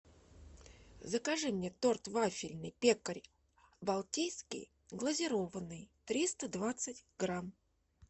закажи мне торт вафельный пекарь балтийский глазированный триста двадцать грамм